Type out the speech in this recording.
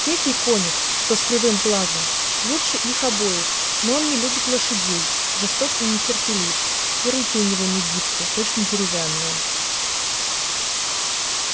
третий конюх что с кривым глазом лучше их обоих но он не любит лошадей жесток и нетерпелив и руки у него не гибки точно деревянные